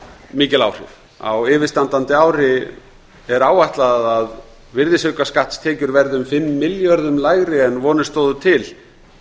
mikil áhrif á yfirstandandi ári er áætlað að virðisaukaskattstekjur verði um fimm milljörðum lægri en vonir stóðu til